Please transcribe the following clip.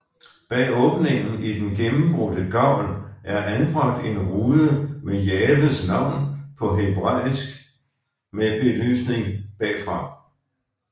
Bag åbningen i den gennembrudte gavl er anbragt en rude med Jahves navn på hebræisk med belysning bagfra